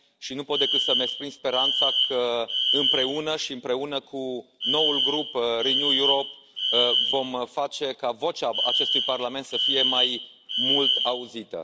Nu pot decât să mi exprim speranța că, împreună și împreună cu noul grup Renew Europe, vom face ca vocea acestui Parlament să fie mai mult auzită.